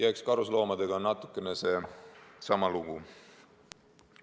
Eks karusloomadega on natukene seesama lugu.